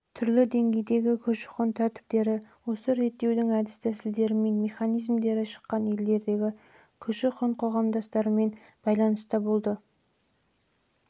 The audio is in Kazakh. немесе түрлі деңгейдегі көші-қон тәртіптері осы реттеудің әдістәсілдері мен механизмдері шыққан елдеріндегі көші-қон коғамдастармен байланыстары